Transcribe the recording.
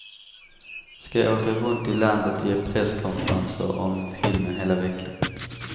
Ska åka runt i landet och ge presskonferenser om filmen hela veckan.